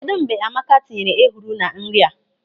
Kedụ mgbe Amaka tinyere ehuru na nri a?